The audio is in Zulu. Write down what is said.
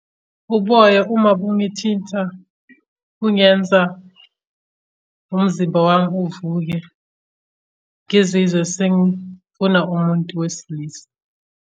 Uboya uma bungithinta kungenza umzimba wami uvuke ngizizwe sengifuna umuntu wesilisa.